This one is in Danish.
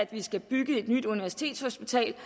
vi skal bygge et nyt universitetshospital